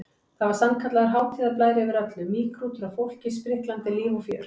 Það var sannkallaður hátíðarblær yfir öllu, mýgrútur af fólki, spriklandi líf og fjör.